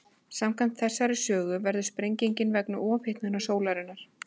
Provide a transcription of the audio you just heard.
Samkvæmt þessari sögu verður sprengingin vegna ofhitnunar sólarinnar.